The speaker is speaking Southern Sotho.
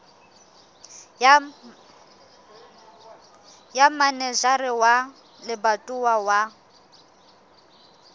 ya manejara wa lebatowa wa